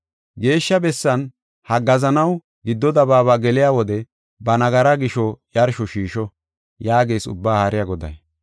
Geeshsha bessan haggaazanaw giddo dabaaba geliya wode ba nagaraa gisho yarsho shiisho” yaagees Ubbaa Haariya Goday.